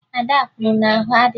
Ada kwuru na ahụ adịghị ya